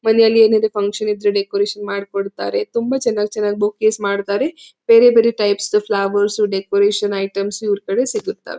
ಮನೇಲಿ ಏನೆ ಇದೆ ಫಕ್ಷನ್ ಇದ್ರೆ ಡೆಕೋರೇಷನ್ ಮಾಡಿಕೊಡತ್ತಾರೆ. ತುಂಬಾ ಚನ್ನಾಗಿ ಚನ್ನಾಗಿ ಬೊಕೇಸ್ ಮಾಡತ್ತಾರೆ . ಬೇರೆ ಬೇರೆ ಟೈಪ್ ಫ್ಲವರ್ಸ್ ಡೆಕೋರೇಷನ್ ಐಟಮ್ಸ್ ಇವರ ಕಡೆ ಸಿಗುತ್ತದೆ.